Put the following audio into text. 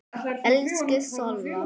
Elsku Solla.